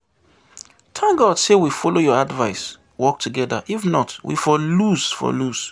Thank God say we follow your advice work together if not we for lose for lose